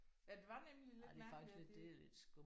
Ja det var nemlig lidt mærkeligt at det